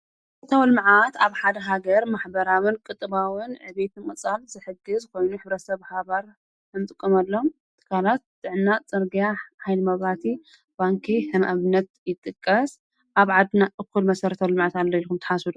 መሰርታዊ ልመዓት ኣብ ሓደ ሃገር ማኅበራምን ቅጥባዉን ዕቤት ቕጻል ዘሕጊ ዝኾይኑ ሕብረ ሰብ ሃባር እምጥቁምሎም ጥካላት ጥዕና፣ ፂርጋያ ፣ኃይልመብረሃቲ፣ ባንከይ ሕምዕብነት ይጥቀስ ኣብ ዓድና እዂል መሠረተውኣልማዕት ኣለ ኢልኩም ተሓሱቡ?